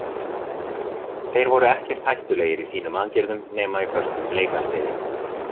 Þeir voru ekkert hættulegir í sínum aðgerðum nema í föstum leikatriði.